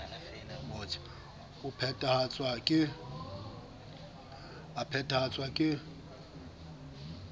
e a phethahatswa lnms ke